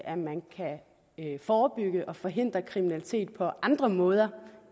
at man kan forebygge og forhindre kriminalitet på andre måder